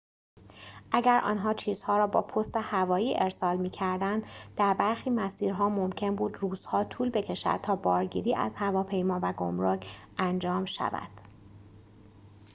اگر آنها چیزها را با پست هوایی ارسال می‌کردند در برخی مسیرها ممکن بود روزها طول بکشد تا بارگیری از هواپیما و گمرک انجام شود